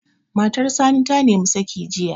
Matar Sani ta nimi saƙi jiya